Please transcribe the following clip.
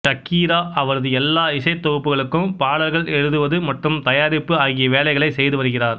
Shakira அவரது எல்லா இசைத்தொகுப்புகளுக்கும் பாடல்கள் எழுதுவது மற்றும் தயாரிப்பு ஆகிய வேலைகளைச் செய்துவருகிறார்